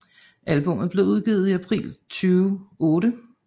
Albummet blev udgivet i april 2008